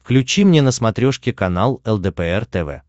включи мне на смотрешке канал лдпр тв